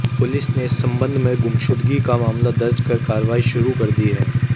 police ने इस संबंध में गुमशुदगी का मामला दर्ज कर कार्रवाई शुरू कर दी है